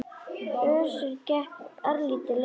Össur gekk örlítið lengra.